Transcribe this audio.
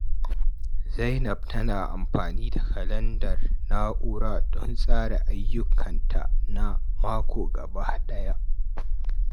Zainab tana amfani da kalandar na'ura don tsara ayyukanta na mako gaba daya.